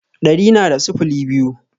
Ɗari na da sifili biyu